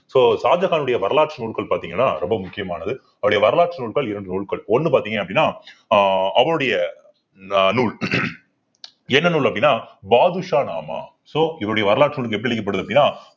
so ஷாஜகானுடைய வரலாற்று நூல்கள் பார்த்தீங்கன்னா ரொம்ப முக்கியமானது அவருடைய வரலாற்று நூல்கள் இரண்டு நூல்கள் ஒண்ணு பார்த்தீங்க அப்படின்னா ஆஹ் அவனுடைய அஹ் நூல் என்ன நூல் அப்படின்னா பாதுஷா நாமா so இவருடைய வரலாறு நூல் எப்படி அப்பிடின்னா